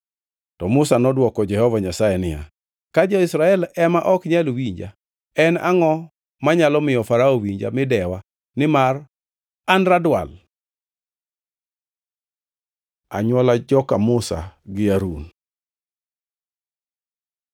To Musa nodwoko Jehova Nyasaye niya, “Ka jo-Israel ema ok nyal winja, en angʼo manyalo miyo Farao winja mi dewa nimar an radwal?” Anywola joka Musa gi Harun